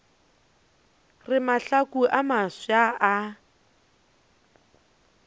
re mahlaku a mafsa a